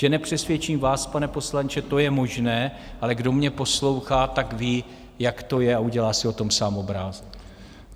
Že nepřesvědčím vás, pane poslanče, to je možné, ale kdo mě poslouchá, tak ví, jak to je, a udělá si o tom sám obrázek.